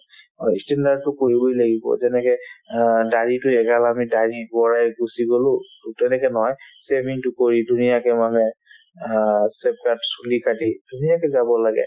হয়, ই standard তো কৰিবই লাগিব যেনেকে অ দাড়িতো এগাল আমি দাড়ি গুচি গ'লো to তেনেকে নহয় shaving তো কৰি ধুনীয়াকে মানে অ চুলি কাটি ধুনীয়াকে যাব লাগে